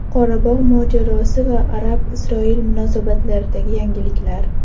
Qorabog‘ mojarosi va Arab-Isroil munosabatlaridagi yangiliklar.